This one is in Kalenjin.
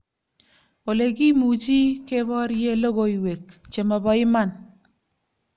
Olekimuchi keborie logoiwek che mobo iman